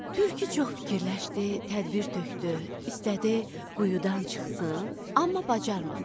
Tülkü çox fikirləşdi, tədbir tökdü, istədi quyudan çıxsın, amma bacarmadı.